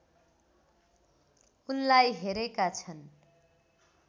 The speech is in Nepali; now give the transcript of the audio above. उनलाई हेरेका छन्